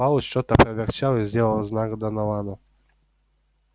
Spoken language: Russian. пауэлл что-то проворчал и сделал знак доновану